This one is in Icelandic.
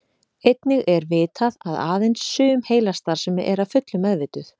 Einnig er vitað að aðeins sum heilastarfsemi er að fullu meðvituð.